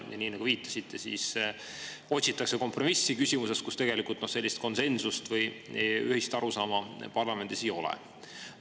Nii nagu viitasite, otsitakse kompromissi küsimuses, milles parlamendis tegelikult konsensust või ühist arusaama ei ole.